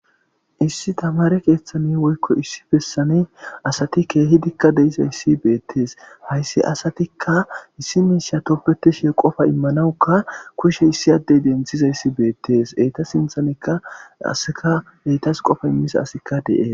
issi tamare keeththani woykko issi pessani asati keehidikka deizayssi beettees hayssi asatikka issi miishya topbeteshi qofa immanawukka kushe issi addey denthizayssi beettes eyta sinthanikka aseka eytas qofa immisa asikka de7e